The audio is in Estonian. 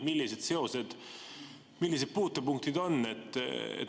Millised seosed, millised puutepunktid on?